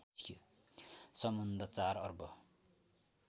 सम्बन्ध ४ अर्ब